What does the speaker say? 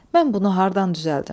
Mən bunu hardan düzəldim?